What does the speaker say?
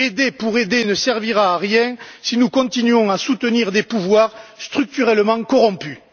Aider pour aider ne servira à rien si nous continuons à soutenir des pouvoirs structurellement corrompus.